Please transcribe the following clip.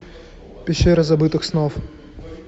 пещера забытых снов